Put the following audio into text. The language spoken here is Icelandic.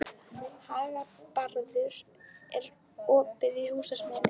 Hagbarður, er opið í Húsasmiðjunni?